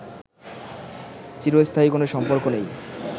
চিরস্থায়ী কোনো সম্পর্ক নেই